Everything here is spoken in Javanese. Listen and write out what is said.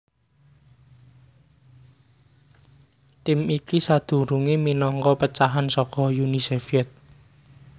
Tim iki sadurungé minangka pecahan saka Uni Sovyèt